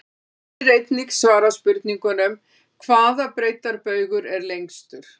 Hér er einnig svarað spurningunum: Hvaða breiddarbaugur er lengstur?